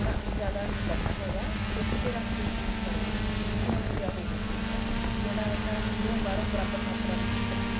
ਨਾ ਜਿਆਦਾ ਨੀ ਕਰਨਾ ਹੈਗਾ sim ਤੇ ਰੱਖ ਕੇ ਹੀ ਕਰੋ ਇਹਨੂੰ medium ਜਾ ਹੋਵੇ ਸੇਕ ਤੇ ਜਿਹੜਾ ਅੰਦਰੋਂ ਬਾਹਰੋਂ ਬਰਾਬਰ ਮਾਤਰਾ ਵਿੱਚ ਹੀ ਪੱਕੇ